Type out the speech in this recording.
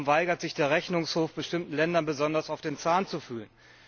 Warum weigert sich der Rechnungshof, bestimmten Ländern besonders auf den Zahn zu fühlen?